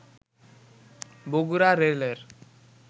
বগুড়া রেলের